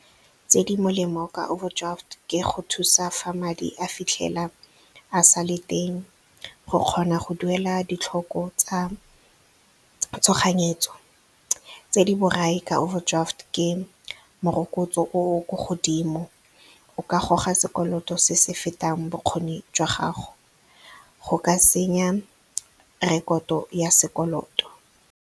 Tse di molemo ka overdraft ke go thusa fa madi a fitlhela a sale teng, go kgona go duela ditlhoko tsa tshoganyetso. Tse di borai ka overdraft ke morokotso o o ko godimo o ka goga sekoloto se se fetang bokgoni jwa gago go ka senya rekoto ya sekoloto.